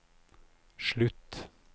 slutt